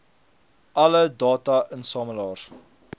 alle data insamelaars